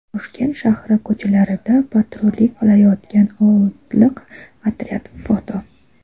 Toshkent shahri ko‘chalarida patrullik qilayotgan otliq otryad (foto).